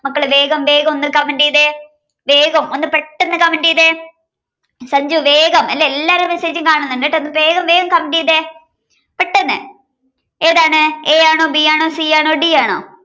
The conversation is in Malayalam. മക്കള് വേഗംവേഗം ഒന്ന് comment ചെയ്തേ വേഗം ഒന്ന് പെട്ടെന്ന് comment ചെയ്തേ സഞ്ജു വേഗം അല്ലേ എല്ലാരെ message ഉം കാണുന്നുണ്ട് ട്ടോ ഒന്ന് വേഗംവേഗം comment ചെയ്തേ പെട്ടെന്ന് ഏതാണ് a ആണോ b ആണോ c ആണോ d ആണോ